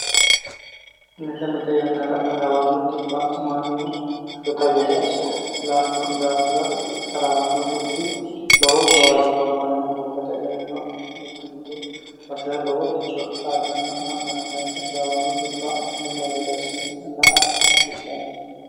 mite mite yannara taraawanno dhibba mannu shota gede la"anno daafira taraawanno dhibbi lowo gawajjo abbannohu gobbate gedeno mite mite basera loworicho dh abbanna la'nanni daafo taraawanno dhibbi mulla gede assimela a dihasiissenni